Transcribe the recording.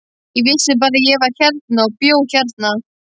Ég vissi bara að ég var hérna og bjó hérna.